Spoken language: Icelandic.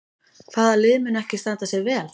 Hvaða lið mun ekki standa sig vel?